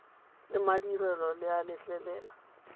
le madirelo le a letlelela